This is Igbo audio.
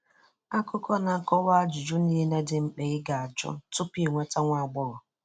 Akụkọ na-akọwa ajụjụ niile dị mkpa ị ga-ajụ tupu ị nweta nwa agbọghọ.